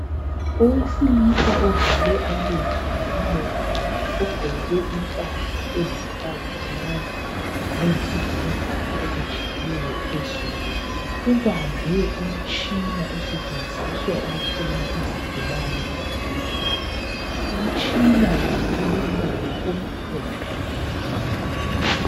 Owesilisa uvale amehlo lomlomo. Ugqoke impahla elithanganyana leyisibhakabhaka okujiyileyo phezulu. ubambe umtshina osetshenziswa ukuhlola izigulane ezibhedlela. Umtshina lo ulombala omhlophe.